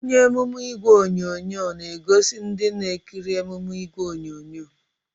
Onye emume ìgwè onyonyo na-egosi ndị na-ekiri emume ìgwè onyonyo